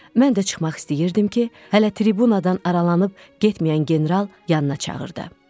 Mən də çıxmaq istəyirdim ki, hələ tribunadan aralanıb getməyən general yanına çağırdı.